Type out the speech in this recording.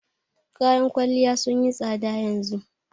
Kayan kwalliya sun yi tsada yanzu